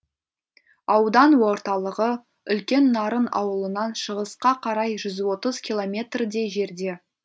аудан орталығы үлкен нарын ауылынан шығысқа қарай жүз отыз километрдей жерде